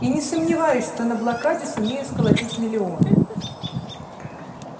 и не сомневаюсь что на блокаде сумею сколотить миллион